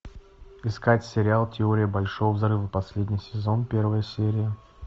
искать сериал теория большого взрыва последний сезон первая серия